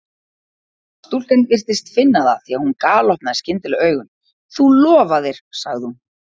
Stúlkan virtist finna það því að hún galopnaði skyndilega augun: Þú lofaðir sagði hún.